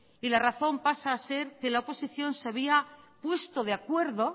y la razón pasa a ser que la oposición se había puesto de acuerdo